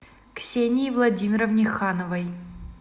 ксении владимировне хановой